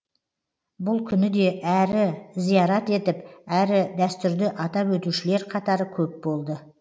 бұл күні де әрі зиярат етіп әрі дәстүрді атап өтушілер қатары көп болды